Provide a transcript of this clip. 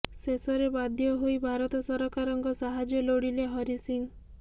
ଶେଷରେ ବାଧ୍ୟ ହୋଇ ଭାରତ ସରକାରଙ୍କ ସାହାଯ୍ୟ ଲୋଡ଼ିଲେ ହରି ସିଂ